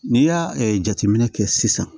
N'i y'a jateminɛ kɛ sisan